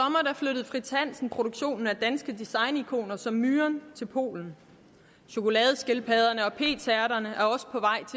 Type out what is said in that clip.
flyttede fritz hansen produktionen af danske designikoner som myren til polen chokoladeskildpadderne og p tærterne